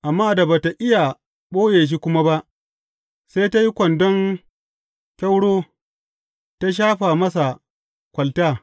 Amma da ba tă iya ɓoye shi kuma ba, sai ta yi kwandon kyauro ta shafa masa kwalta.